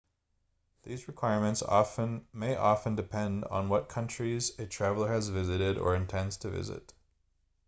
these requirements may often depend on what countries a traveller has visited or intends to visit